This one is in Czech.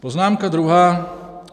Poznámka druhá.